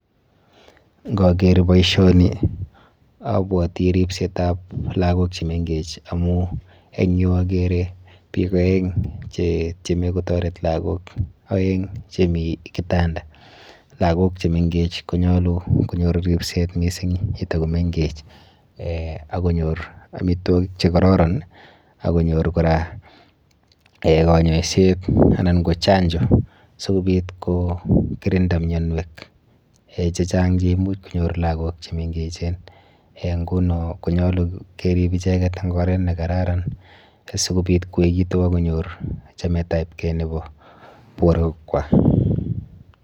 Nkaker boisioni abwati ripsetap lagok chemenkech amu eng yu akere biik aeng chetieme kotaret lagok aeng chemi kitanda. Lagok chemenkech konyolu konyor ripset mising yetakomenkech eh akonyor amitwokik chekororon, akonyor kora eh kanyoiset anan ko chanjo sikobit kokirinda mianwek chechang cheimuch konyor lagok chemengechen eh nguno konyolu kerib icheket eng oret nekararan sikobit koekitu akonyor chametapkei nepo borwekwa.